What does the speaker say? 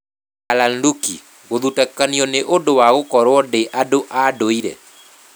Darlan Rukih: Gũthutũkanio nĩ ũndũ wa gũkorũo ndĩ andũ a ndũire